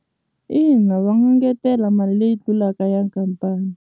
Ina va ngetela mali leyi ti tlulaka ya khampani.